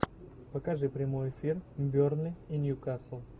покажи прямой эфир бернли и ньюкасл